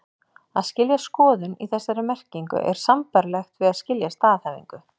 Að skilja skoðun, í þessari merkingu, er sambærilegt við að skilja staðhæfingu.